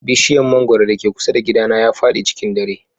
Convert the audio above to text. Bishiyar mangwaro da ke kusa da gidana ya fadi cikin dare.